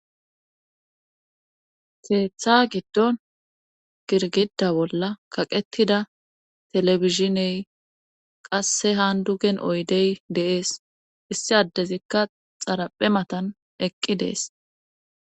Keetha giddon girgida bolla kaqettida telefishiney qasse han dugen oydey deees issi addezikka xaraphe matan eqqi dees.